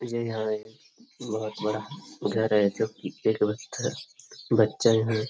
ये यहाँ एक बहोत बड़ा घर है जो की गेट बंद है। बच्चा भी --